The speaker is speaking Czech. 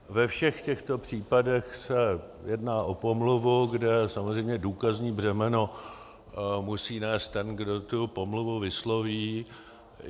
Ve všech těchto případech se jedná o pomluvu, kde samozřejmě důkazní břemeno musí nést ten, kdo tu pomluvu vysloví.